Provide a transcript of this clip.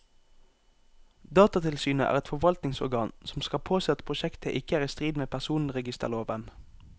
Datatilsynet er et forvaltningsorgan som skal påse at prosjektet ikke er i strid med personregisterloven.